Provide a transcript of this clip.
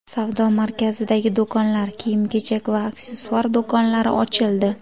Savdo markazidagi do‘konlar, kiyim-kechak va aksessuar do‘konlari ochildi.